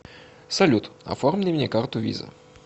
салют оформи мне карту виза